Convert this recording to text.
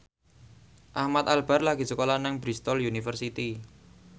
Ahmad Albar lagi sekolah nang Bristol university